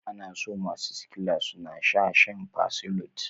Ana so masu sickla suna shaa shan fersolate.